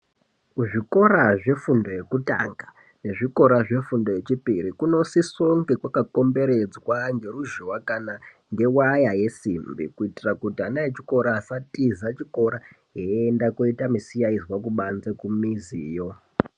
Kuzvikora zvefundo yekutanga nezvikora zvefundo yechipiri kunosisa kunge kwakakomberedzwa ngeruzhowa kana waya yesimbi kuti ana chikora asatiza chikora eienda koita misikanzwa kubanze kumiziyo.